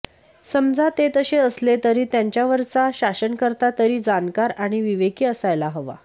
समजा ते तसे असले तरी त्यांच्यावरचा शासनकर्ता तरी जाणकार आणि विवेकी असायला हवा